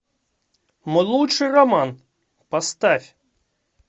мой лучший роман поставь